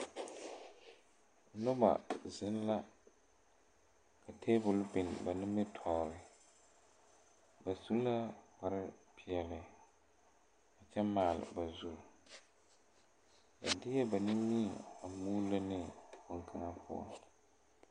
Nobɔ zeŋ la ka tabole bio ba nimitooore ba su lavkpare peɛle a kyɛbmaale ba zure ba deɛɛ ba nimie muulo ne bonkaŋa poɔ.